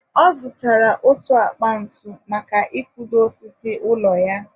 ọ zụtara otu akpa ntu maka i kudo ósísí ụlọ ya.